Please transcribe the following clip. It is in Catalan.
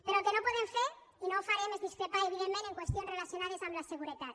però el que no podem fer i no ho farem és discrepar evidentment en qüestions relacionades amb la seguretat